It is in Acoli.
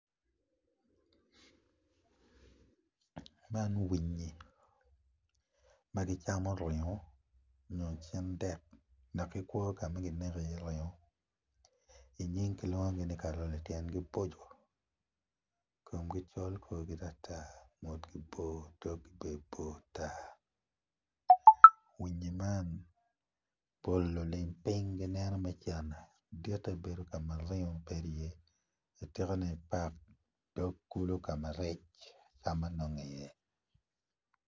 Man winyi ma gicamo ringo nyo cindek dok gikwo ka man kineko iye ringo i nying kilwongogi ni karole tyen gi boco komgi col dogi bor tatar winyi man pol pa lilim piny gineno me cente ditte bedo ka maringo tye iye atikane i park dok kulu ka ma rec kulu acam nonge iye.